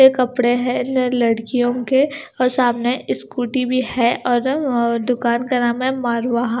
कपड़े हैं लड़ लड़कियों के और सामने स्कूटी भी है और अ दुकान का नाम है मारवा--